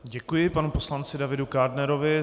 Děkuji panu poslanci Davidu Kádnerovi.